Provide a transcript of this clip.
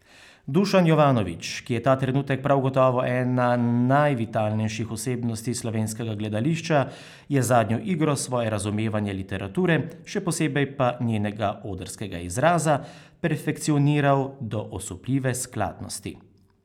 Dušan Jovanovič, ki je ta trenutek prav gotovo ena najvitalnejših osebnosti slovenskega gledališča, je z zadnjo igro svoje razumevanje literature, še posebej pa njenega odrskega izraza, perfekcioniral do osupljive skladnosti.